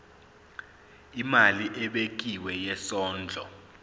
imali ebekiwe yesondlo